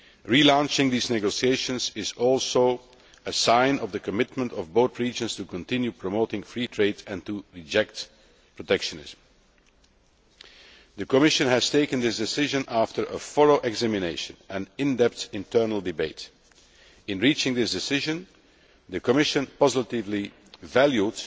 Relaunching these negotiations is also a sign of the commitment of both regions to continuing to promote free trade and to reject protectionism. The Commission has taken this decision after a thorough examination and in depth internal debate. In reaching this decision, the Commission positively valued